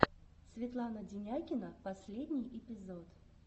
светлана денякина последний эпизод